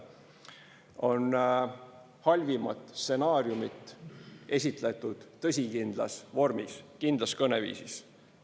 On halvimat stsenaariumit esitletud tõsikindlas vormis, kindlas kõneviisis.